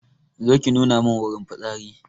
Zo ki nuna mun wurin fitsari